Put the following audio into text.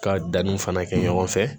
Ka danni fana kɛ ɲɔgɔn fɛ